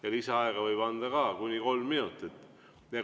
Ja lisaaega võib anda kuni kolm minutit.